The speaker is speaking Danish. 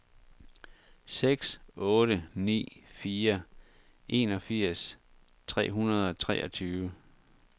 seks otte ni fire enogfirs tre hundrede og treogtyve